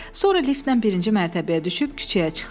Sonra liftlə birinci mərtəbəyə düşüb küçəyə çıxdılar.